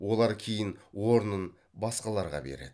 олар кейін орнын басқаларға береді